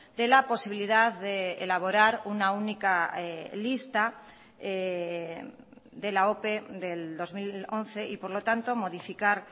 de la posibilidad de elaborar una única lista de la ope del dos mil once y por lo tanto modificar